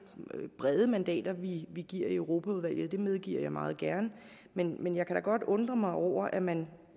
brede mandater vi vi giver i europaudvalget det medgiver jeg meget gerne men men jeg kan da godt undre mig over at man